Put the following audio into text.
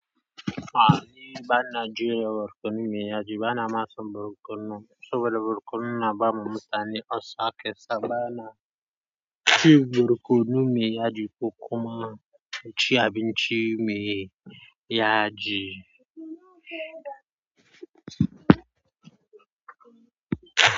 A'a ni bana jiya borkonu mai yaji, bana son borkonu saboda borkonu na bamu mutane olsa kesa bana ci borkonu mai yaji ko kuma ci abinci mai yaji.